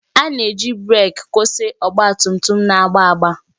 A na-eji breeki kwụsị ọgba tum tum na-agba agba.